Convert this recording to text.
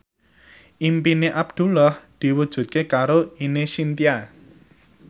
impine Abdullah diwujudke karo Ine Shintya